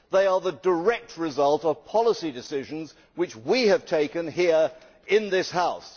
they are the direct results of policy decisions which we have taken here in this House.